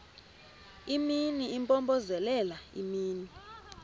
imini impompozelela imini